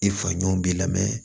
I fa ɲɔn b'i la